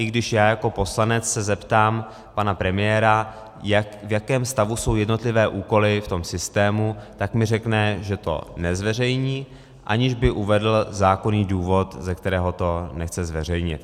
I když já jako poslanec se zeptám pana premiéra, v jakém stavu jsou jednotlivé úkoly v tom systému, tak mi řekne, že to nezveřejní, aniž by uvedl zákonný důvod, ze kterého to nechce zveřejnit.